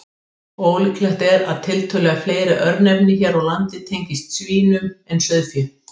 Ólíklegt er að tiltölulega fleiri örnefni hér á landi tengist svínum en sauðfé.